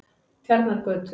Tjarnargötu